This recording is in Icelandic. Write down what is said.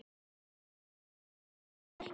Ég þoli þær ekki.